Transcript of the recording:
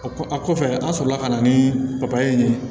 O kɔ a kɔfɛ an sɔrɔla ka na ni papaye ye